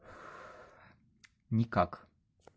никак